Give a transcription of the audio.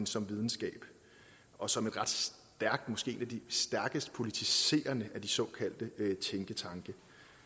som videnskab og som en ret stærkt måske af de stærkest politiserende af de såkaldte tænketanke